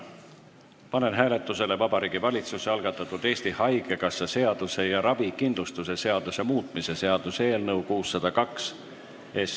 Panen hääletusele Vabariigi Valitsuse algatatud Eesti Haigekassa seaduse ja ravikindlustuse seaduse muutmise seaduse eelnõu 602.